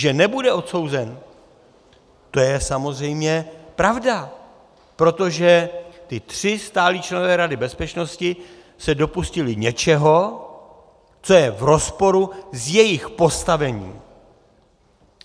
Že nebude odsouzen, to je samozřejmě pravda, protože ti tři stálí členové Rady bezpečnosti se dopustili něčeho, co je v rozporu s jejich postavením.